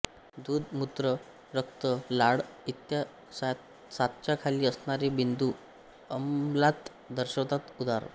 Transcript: दूध मूत्र रक्त लाळ इ सातच्या खाली असणारे बिंदू आम्लता दर्शवितात उदा